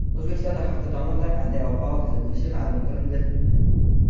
O‘zbekistonda hafta davomida qanday ob-havo kuzatilishi ma’lum qilindi.